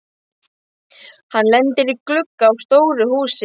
Hann lendir í glugga á stóru húsi.